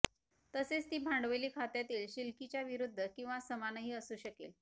तसेच ती भांडवली खात्यातील शिलकीच्या विरूद्ध किंवा समानही असू शकेल